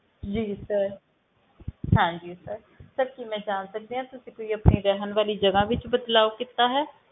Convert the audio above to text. ਜੀ sir ਹਾਂਜੀ sir sir ਕੀ ਮੈਂ ਜਾਣ ਸਕਦੀ ਹਾਂ ਤੁਸੀਂ ਕੋਈ ਆਪਣੀ ਰਹਿਣ ਵਾਲੀ ਜਗ੍ਹਾ ਵਿੱਚ ਬਦਲਾਵ ਕੀਤਾ ਹੈ,